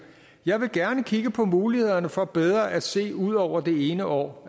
jeg vil gerne kigge på mulighederne for bedre at se ud over det ene år